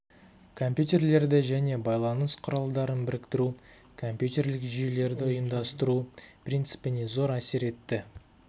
компьютерлерді және байланыс құралдарын біріктіру компьютерлерлік жүйелерді ұйымдастыру принципіне зор әсер етті